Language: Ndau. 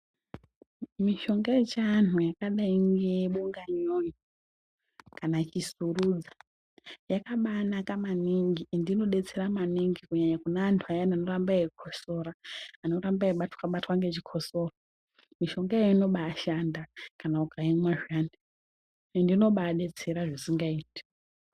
Mishonga yechivantu yakadai nebonga nyonyo kana ichisurudza yakabanaka maningi endi inobetsera maningi kunyanya kune antu aya anoramba eikosora. Anoramba eibatwa-batwa nechikosoro mishongayo inobashanda kana ukaimwa zviyani ende inobabetsera zvisingaiti.